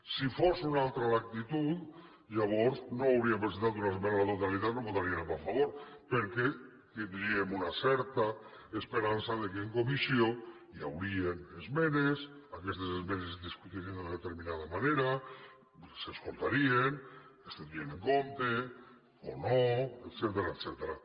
si fos una altra l’actitud llavors no hauríem presentat una esmena a la totalitat i la votaríem a favor perquè tindríem una certa esperança que en comissió hi haurien esmenes aquestes esmenes es discutirien de determinada manera s’escoltarien es tindrien en compte o no etcètera